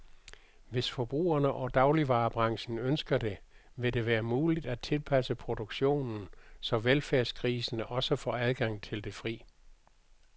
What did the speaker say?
Hvis forbrugerne og dagligvarebranchen ønsker det, vil det være muligt at tilpasse produktionen, så velfærdsgrisene også får adgang til det fri.